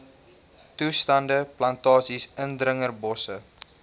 toestande plantasies indringerbosse